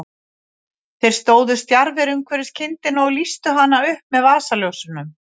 Þeir stóðu stjarfir umhverfis kindina og lýstu hana upp með vasaljósunum.